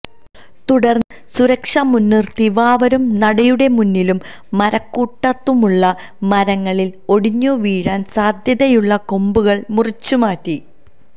തുടര്ന്ന് സുരക്ഷ മുന്നിര്ത്തി വാവരുനടയുടെമുന്നിലും മരക്കൂട്ടത്തുമുള്ള മരങ്ങളില് ഒടിഞ്ഞുവീഴാന് സാധ്യതയുള്ള കൊമ്പുകള് മുറിച്ചുമാറ്റി